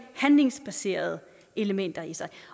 handlingsbaserede elementer i sig